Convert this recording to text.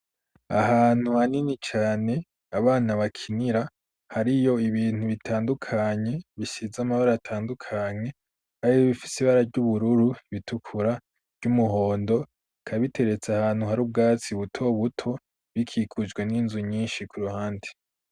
Ahantu hanini cane abana bakinira, hariyo ibintu bitandukanye bisize amabara atandukanye, hari ibifise ibara ry'ubururu, iritukura, ry'umuhondo, bikaba biteretse ahantu hari ubwatsi buto buto, bikikujwe n'inzu nyinshi ku ruhande.